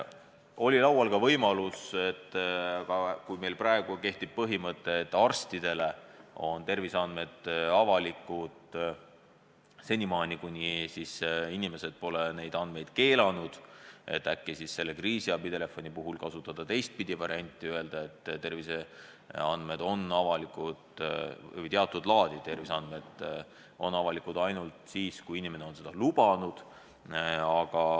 Oli laual ka võimalus, et kui meil praegu kehtib põhimõte, et arstidele on terviseandmed avalikud, kuni inimesed pole neid keelanud, siis äkki võiks kriisiabitelefoni puhul kasutada teistpidi varianti ja lähtuda sellest, et teatud laadi terviseandmed on avalikud ainult siis, kui inimene on seda lubanud.